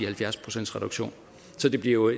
halvfjerds procentsreduktion så vi bliver